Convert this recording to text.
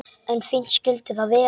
En fínt skyldi það vera!